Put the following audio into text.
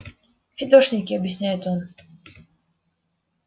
фидошники объясняет он